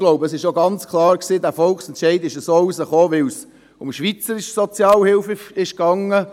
Ich glaube aber, dass der Volksentscheid auch so herausgekommen ist, weil es um die schweizerische Sozialhilfe ging.